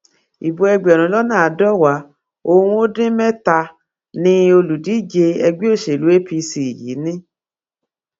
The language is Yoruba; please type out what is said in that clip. ibo ẹgbẹrún lọnà àádọwàá n ó dín mẹtàánì olùdíje ẹgbẹ òṣèlú apc yìí ni